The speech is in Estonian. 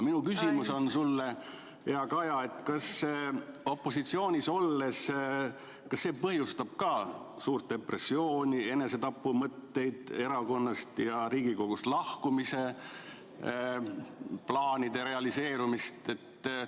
Minu küsimus sulle, hea Kaja, on: kas opositsioonis olemine põhjustab ka suurt depressiooni, enesetapumõtteid, erakonnast ja Riigikogust lahkumise plaanide realiseerumist?